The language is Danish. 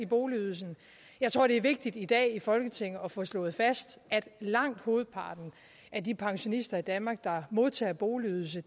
boligydelsen jeg tror det er vigtigt i dag i folketinget at få slået fast at langt hovedparten af de pensionister i danmark der modtager boligydelse